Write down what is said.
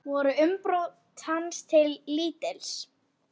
Voru umbrot hans til lítils.